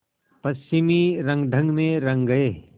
पश्चिमी रंगढंग में रंग गए